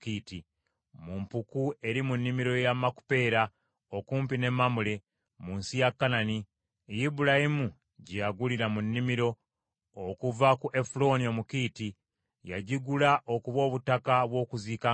mu mpuku eri mu nnimiro ya Makupeera, okumpi ne Mamule, mu nsi ya Kanani, Ibulayimu gye yagulira mu nnimiro, okuva ku Efulooni Omukiiti. Yagigula okuba obutaka bw’okuziikangamu.